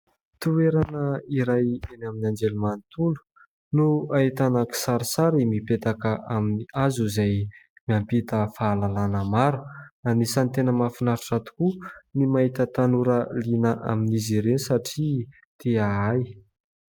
Toerana iray eny amin'ny anjery manontolo no ahitana kisarisary mipetaka amin'ny hazo izay miampita fahalalana maro. Anisany tena mafinaritra tokoa ny mahita tanora liana amin'izy ireny satria te ahay.